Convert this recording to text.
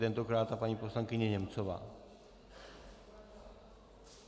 Tentokrát i paní poslankyně Němcová.